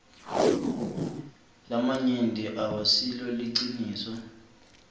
lamanyenti awasilo liciniso